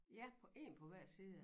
Ja på én på hver side af